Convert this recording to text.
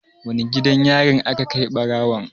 Wane gidan yarin aka kai ɓarawon?